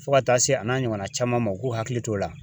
Fo ka taa se a n'a ɲɔgɔnna caman ma u k'u hakili t'o la.